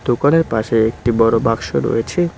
দোকানের পাশে একটি বড়ো বাক্স রয়েছে।